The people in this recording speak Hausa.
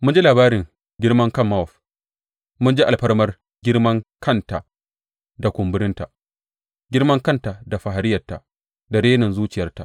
Mun ji labarin girman kan Mowab mun ji alfarma girmankanta da kumburinta girmankanta da fariyarta da renin zuciyarta.